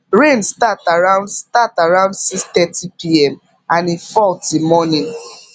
rain start around start around 630pm and e fall till morning